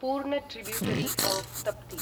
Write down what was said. पूर्ण tributary of Tapti